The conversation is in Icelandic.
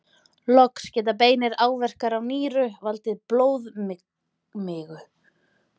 Loks geta beinir áverkar á nýru valdið blóðmigu.